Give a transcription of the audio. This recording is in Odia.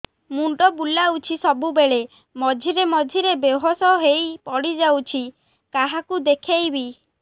ମୁଣ୍ଡ ବୁଲାଉଛି ସବୁବେଳେ ମଝିରେ ମଝିରେ ବେହୋସ ହେଇ ପଡିଯାଉଛି କାହାକୁ ଦେଖେଇବି